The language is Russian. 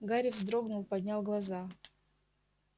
гарри вздрогнул поднял глаза